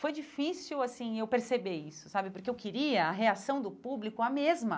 Foi difícil assim eu perceber isso sabe, porque eu queria a reação do público a mesma.